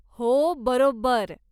हो, बरोबर.